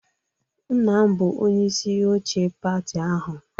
Nna m bụ onyeisi oche pati ahụ